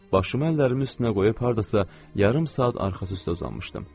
Başımı əllərimin üstünə qoyub hardasa yarım saat arxası üstə uzanmışdım.